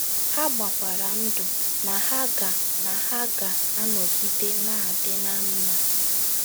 Ha gbakwara ndụ na ha ga na ha ga - anọgide na - adị ná mma.